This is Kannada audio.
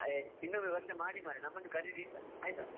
ಇನ್ನೊಮ್ಮೆ ವರ್ಷ ಮಾಡಿ ಮರ್ರೆ ನಮ್ಮನ್ನು ಕರೀರಿ ಆಯ್ತಾ?